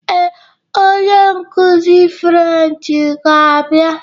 Ee, onye nkuzi Frenchị ga-abịa.